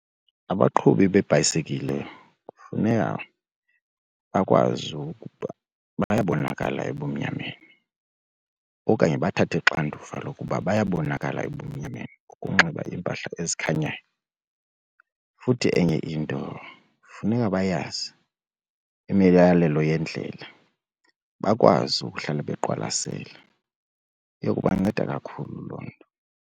Abaqhubi beebhayisekile kufuneka bakwazi ukuba bayabonakala ebumnyameni okanye bathathe uxanduva lokuba bayabonakala ebumnyameni ukunxiba impahla ezikhanyayo. Futhi enye into funeka bayazi imiyalelo yendlela bakwazi ukuhlala beqwalasele, iya kubanceda kakhulu loo nto.